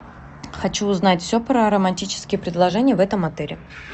хочу узнать все про романтические предложения в этом отеле